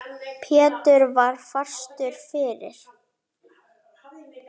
Pétur var fastur fyrir.